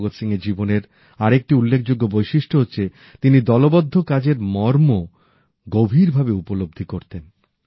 ভগৎ সিংয়ের জীবনের আরেকটি উল্লেখযোগ্য বৈশিষ্ট্য হচ্ছে তিনি দলবদ্ধ কাজের মর্ম গভীরভাবে উপলব্ধি করতেন